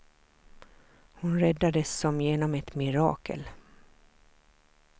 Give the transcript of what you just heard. Hon räddades som genom ett mirakel.